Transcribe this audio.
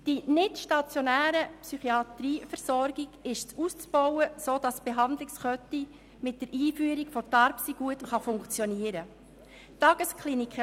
Die nichtstationäre Psychiatrieversorgung ist auszubauen, sodass die Behandlungskette mit der Einführung von TARPSY gut funktionieren kann.